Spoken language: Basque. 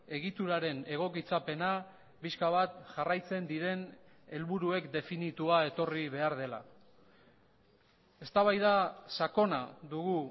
egituraren egokitzapena pixka bat jarraitzen diren helburuek definitua etorri behar dela eztabaida sakona dugu